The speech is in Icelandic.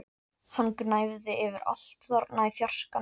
Hann gnæfði yfir allt þarna í fjarskanum!